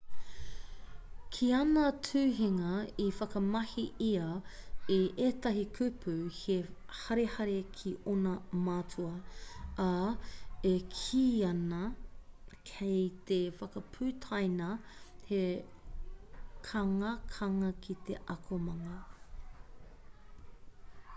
ki āna tuhinga i whakamahi ia i ētahi kupu he harehare ki ōna mātua ā e kīia ana kei te whakaputaina he kangakanga ki te akomanga